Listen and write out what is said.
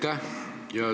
Aitäh!